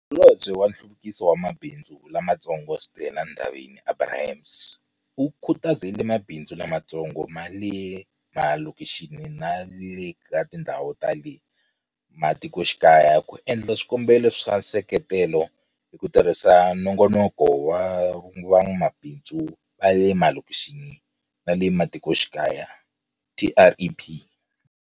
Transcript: Holobye wa Nhluvukiso wa Mabindzu Lamatsongo Stella Ndabeni-Abrahams, u khutazile mabindzu lamatsongo ma le malokixini na le ka tindhawu ta le matikoxikaya ku endla swikombelo swa nseketelo hi ku tirhisa Nongonoko wa Van'wamabindzu va le Malokixini na le Mati koxikaya, TREP.